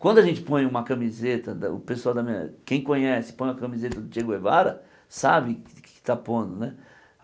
Quando a gente põe uma camiseta da o pessoal da minha, quem conhece, põe a camiseta do Che Guevara, sabe o que está pondo né.